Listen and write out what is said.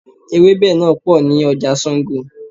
Ewẹ́bẹ̀ náà pò ní ọjà Sango.